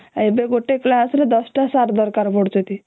ଏବେ ଗୋଟେ କ୍ଲାସ ରେ ଦଶଟା ସାର ଦରକାର ପଡୁଛନ୍ତି